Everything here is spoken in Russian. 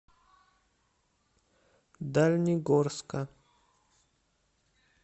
дальнегорска